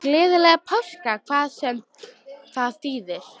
Gleðilega páska, hvað svo sem það þýðir.